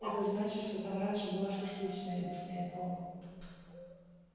это значит что там раньше была шашлычная объясняет он